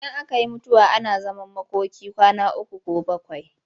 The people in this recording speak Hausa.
Idan aka yi mutuwa ana zaman makoki kwana uku ko bakwai.